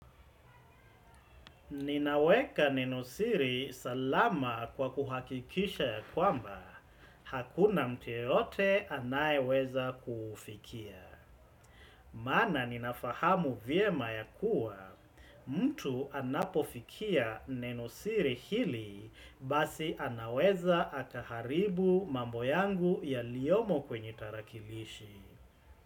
Ninaweka nenosiri salama kwa kuhakikisha ya kwamba, hakuna mtu yeyote anayeweza kufikia. Maana ninafahamu vyema ya kuwa, mtu anapofikia nenosiri hili basi anaweza akaharibu mambo yangu yaliyomo kwenye tarakilishi.